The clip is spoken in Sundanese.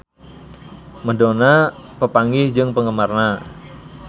Madonna papanggih jeung penggemarna